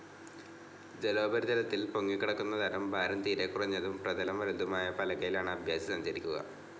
ജലോപരിതലത്തിൽ പൊങ്ങിക്കിടക്കുന്നതരം ഭാരം തീരെക്കുറഞ്ഞതും പ്രതലം വലുതുമായ പലകയിലാണ് അഭ്യാസി സഞ്ചരിക്കുക.